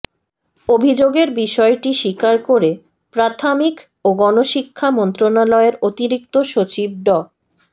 অভিযোগের বিষয়টি স্বীকার করে প্রাথামিক ও গণশিক্ষা মন্ত্রণালয়ের অতিরিক্ত সচিব ড